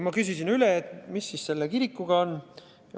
Ma küsisin üle, mis selle kirikuga on.